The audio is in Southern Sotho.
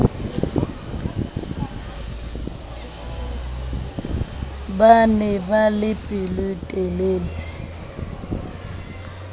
ba ne ba le pelotelele